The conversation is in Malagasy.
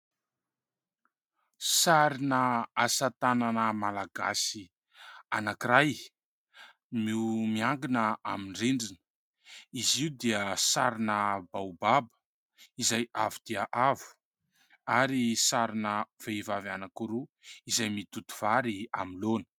Sarina asa-tanana Malagasy anakiray no miantona amin'ny rindrina. Izy io dia sarina "Baobaba, izay avo dia avo ; ary sarina vehivavy anakiroa izay mitoto vary amin'ny laona.